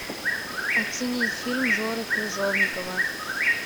оценить фильм жоры крыжовникова